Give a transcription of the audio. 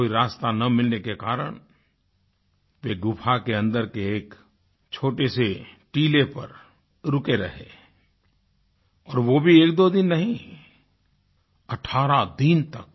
कोई रास्ता न मिलने के कारण वे गुफ़ा के अन्दर के एक छोटे से टीले पर रुके रहे और वो भी एकदो दिन नहीं 18 दिन तक